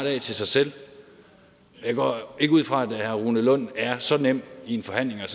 af til sig selv jeg går ikke ud fra at herre rune lund er så nem i en forhandling at